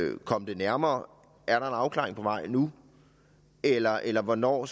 komme det nærmere er der en afklaring på vej nu eller eller hvornår